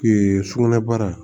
sugunɛ baara